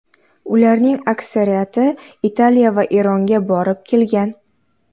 Ularning aksariyati Italiya va Eronga borib kelgan.